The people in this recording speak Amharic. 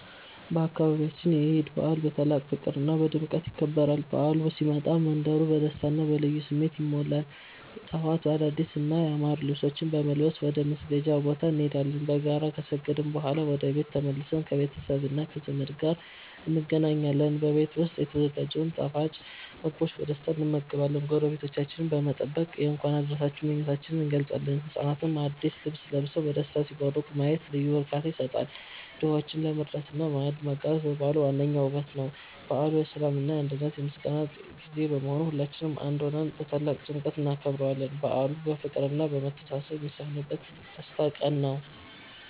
በአካባቢያችን የዒድ በዓል በታላቅ ፍቅርና ድምቀት ይከበራል። በዓሉ ሲመጣ መንደሩ በደስታና በልዩ ስሜት ይሞላል። ጠዋት አዳዲስና ያማሩ ልብሶችን በመልበስ ወደ መስገጃ ቦታ እንሄዳለን። በጋራ ከሰገድን በኋላ ወደ ቤት ተመልሰን ከቤተሰብና ከዘመድ ጋር እንገናኛለን። በቤት ዉስጥ የተዘጋጀውን ጣፋጭ ምግቦችን በደስታ እንመገባለን። ጎረቤቶቻችንን በመጠየቅ የእንኳን አደረሳችሁ ምኞታችንን እንገልጻለን። ህጻናትም አዲስ ልብስ ለብሰው በደስታ ሲቦርቁ ማየት ልዩ እርካታ ይሰጣል። ድሆችን መርዳትና ማዕድ ማጋራት የበዓሉ ዋነኛው ውበት ነው። በዓሉ የሰላም፣ የአንድነትና የምስጋና ጊዜ በመሆኑ ሁላችንም በአንድ ሆነን በታላቅ ድምቀት እናከብረዋለን። በዓሉ ፍቅርና መተሳሰብ የሚሰፍንበት ትልቅ የደስታ ቀን ነው።